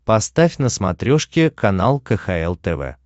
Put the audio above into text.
поставь на смотрешке канал кхл тв